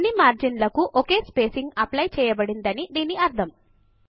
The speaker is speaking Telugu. అన్ని మార్జిన్ లకు ఒకే స్పేసింగ్ అప్లైచేయబడిందని దీని అర్ధము